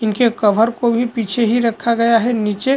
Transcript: इनके कवर को भी पीछे ही रखा गया है नीचे--